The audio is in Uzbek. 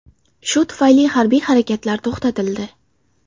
Shu tufayli harbiy harakatlar to‘xtatildi.